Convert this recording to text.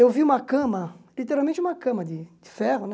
Eu vi uma cama, literalmente uma cama de de ferro, né?